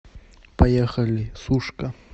поехали сушка